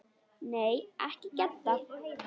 Nei, ekki Gedda.